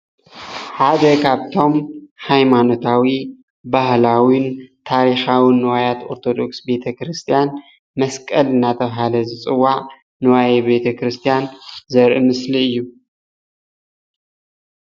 ሓደ ካብቶም ሃይማኖታዊ፣ ባህላውን ታሪካውን ንዋያት ኦርተዶክስ ቤተ ክርስትያን መስቀል እናተባሃለ ዝፅዋዕ ንዋየ ቤተ ክርስትያን ዘርኢ ምስሊ እዩ፡፡